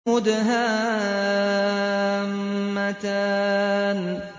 مُدْهَامَّتَانِ